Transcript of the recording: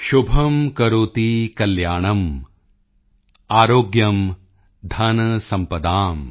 ਸ਼ੁਭਮ੍ ਕਰੋਤਿ ਕਲਿਆਣੰ ਆਰੋਗਯੰ ਧਨਸੰਪਦਾਮ